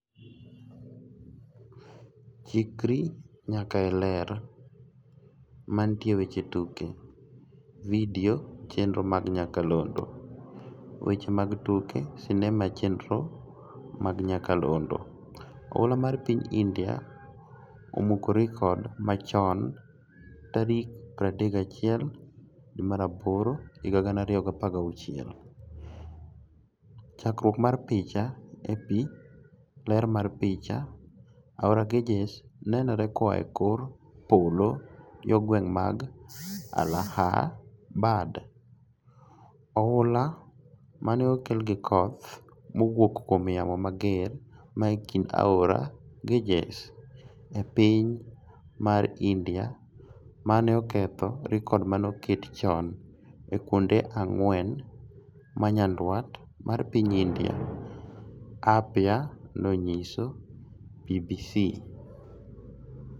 Chikri nyaka e Ler. Mantie e weche tuke. Video chenro mag nyakalondo. Weche mag tuke sinema chenro mag nyakalondo. Ofula mar piny India 'Omuko rekod machoni' tarik 31 Agosti 2016. Chakruok mar picha, AP. Ler mar picha, Aora Ganges nonenore koa e kor polo yoo gwenge mag Allahabad. ofula mane okel gi koth mowuok kuom yamo mager ma kinde Aora Ganges, e piny mar India mane oketho rkod manoket chon e kuonde ang'wen manyandwat mar piny India, apia nonyiso BBC.